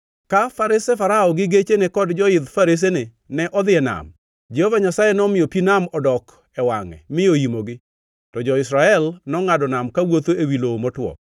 Ka farese Farao gi gecheni kod joidh faresene ne odhi e nam, Jehova Nyasaye nomiyo pi nam odok e wangʼe mi oimogi, to jo-Israel nongʼado nam kawuotho ewi lowo motwo.